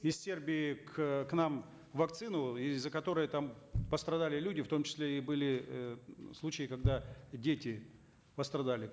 из сербии к к нам вакцину из за которой там постадали люди в том числе и были э случаи когда дети пострадали